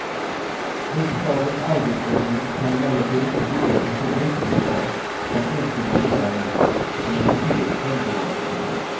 Riksdagens arbetsordning kan emellertid inte bygga på så bräcklig bas som enskilda ledamöters eller partiers självbevarelsedrift.